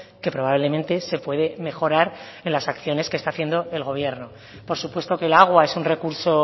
que probablemente se puede mejorar en las acciones que está haciendo el gobierno por supuesto que el agua es un recurso